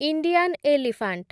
Indian elephant